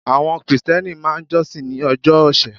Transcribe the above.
Àwon krìsténi máa n josin ní ojó òsè